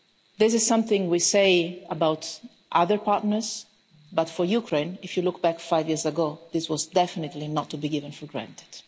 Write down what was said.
This is something we say about other partners, but for Ukraine if you look at five years ago this was definitely not to be taken for granted.